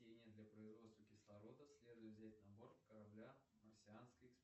для производства кислорода следует взять на борт корабля марсианской